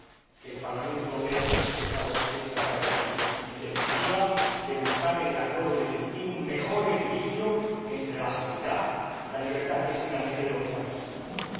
que el Parlamente Europeo ha expresado esta tarde aquí, en definitiva, de buscar en el acuerdo definitivo un mejor equilibrio entre la seguridad y la libertad, que es, finalmente, de lo que estamos hablando aquí.